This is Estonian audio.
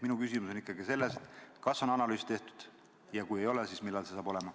Minu küsimus on ikkagi see, kas on analüüs tehtud ja kui ei ole, siis millal see saab olema.